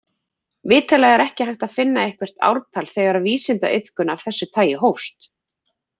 Vitanlega er ekki hægt að finna eitthvert ártal þegar vísindaiðkun af þessu tagi hófst.